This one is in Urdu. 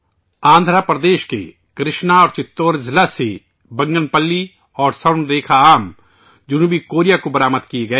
آندھرا پردیش کے کرشنا اور چتور اضلاع سے بنگن پلیّ اور سورن رِکھا آم جنوبی کوریا کو برآمد کئے گئے